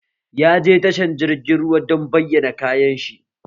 Ya je tashar jirgin ruwa don bayyana kayan shi